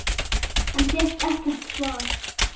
En fékk ekkert svar.